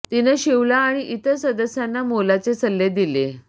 तिनं शिवला आणि इतर सदस्यांना मोलाचे सल्ले दिले